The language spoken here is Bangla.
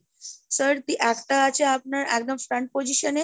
sir, একটা আছে আপনার একদম stand position এ,